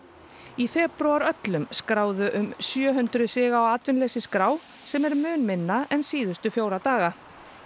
í febrúar öllum skráðu um sjö hundruð sig á atvinnuleysisskrá sem er mun minna en síðustu fjóra daga